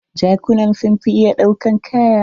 Jakuna sun fi iya ɗaukan kaya.